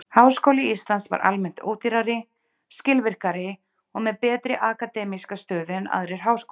Háskóli Íslands var almennt ódýrari, skilvirkari og með betri akademíska stöðu en aðrir háskólar.